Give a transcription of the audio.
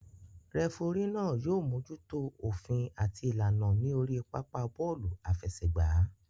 Rẹfurí náà yóò mójútó òfin àti ìlànà ní orí pápá bọ́ọ̀lù àfẹsẹ̀gbá